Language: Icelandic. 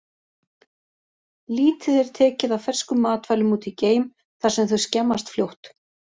Lítið er tekið af ferskum matvælum út í geim, þar sem þau skemmast fljótt.